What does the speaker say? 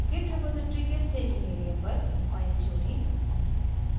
git repository के staging area पर file जोड़ें